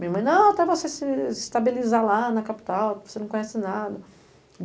Minha mãe, não, até você se se estabilizar lá na capital, porque você não conhece nada.